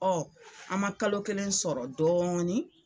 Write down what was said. an ma kalo kelen sɔrɔ dɔɔnin